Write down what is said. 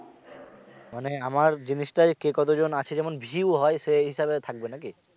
মানে আমার জিনিসটায় কে কে কতজন আছে যেমন view হয় সেই হিসেবে থাকবে নাকি?